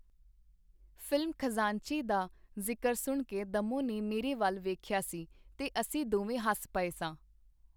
Film Khazanchi ਦਾ ਜ਼ਿਕਰ ਸੁਣ ਕੇ ਦੱਮੋਂ ਨੇ ਮੇਰੇ ਵਲ ਵੇਖਿਆ ਸੀ, ਤੇ ਅਸੀਂ ਦੋਵੇਂ ਹੱਸ ਪਏ ਸਾਂ.